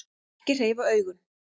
Ekki hreyfa augun.